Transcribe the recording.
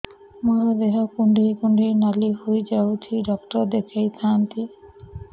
ମୋର ଦେହ କୁଣ୍ଡେଇ କୁଣ୍ଡେଇ ନାଲି ହୋଇଯାଉଛି ଡକ୍ଟର ଦେଖାଇ ଥାଆନ୍ତି